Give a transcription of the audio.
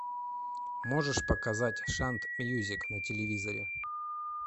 можешь показать шант мьюзик на телевизоре